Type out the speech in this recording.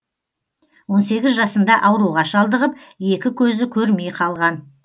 он сегіз жасында ауруға шалдығып екі көзі көрмей қалған